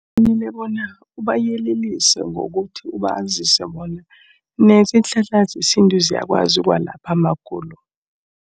Kufanele bona ubayelelise ngokuthi ubazise bona nazo iinhlahla zesintu ziyakwazi kwalapho amagulo.